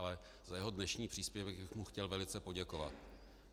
Ale za jeho dnešní příspěvek bych mu chtěl velice poděkovat.